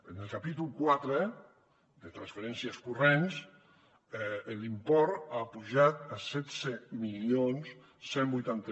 en el capítol quatre de transferències corrents l’import ha pujat a setze mil cent i vuitanta